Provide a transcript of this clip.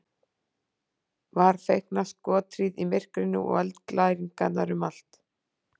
Var feikna skothríð í myrkrinu og eldglæringar um allt.